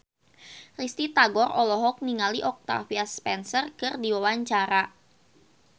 Risty Tagor olohok ningali Octavia Spencer keur diwawancara